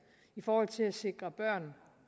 i forhold til at sikre børn